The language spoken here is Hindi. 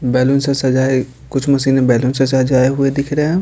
बैलून से सजा हैं कुछ मशीनें बैलून से सजाए हुए दिख रहे हैं।